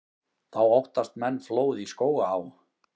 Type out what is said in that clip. Þá óttist menn flóð í Skógaá.